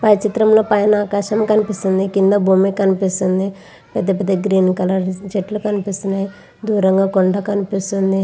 పై చిత్రం లో పైన ఆకాశం కనిపిస్తుంది కింద భూమి కనిపిస్తుంది పెద్ద పెద్ద చెట్లు కనిపిస్తున్నాయి దూరం గ కొండలు కనిపిస్తున్నాయ్ .